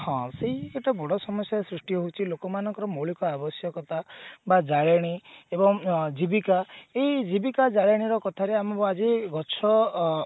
ହଁ ସେଇ ଗୋଟେ ବଡ ସମସ୍ଯା ସୃଷ୍ଟି ହଉଛି ଲୋକମାନଙ୍କର ମୌଳିକ ଆବଶ୍ୟକତା ବା ଜାଳେଣୀ ଏବଂ ଜୀବିକା ଏଇ ଜୀବିକା ଜାଳେଣୀ ର କଥା ରୁ ଆମକୁ ଆଜି ଗଛ ଅ